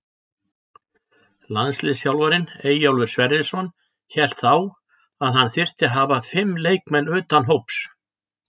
Landsliðsþjálfarinn Eyjólfur Sverrisson hélt þá að hann þyrfti að hafa fimm leikmenn utan hóps.